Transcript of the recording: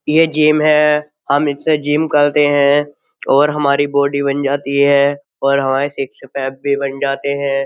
ये जिम है हम इससे जिम करते हैं और हमारी बॉडी बन जाती है और हमारे सिक्स पैक भी बन जाते हैं।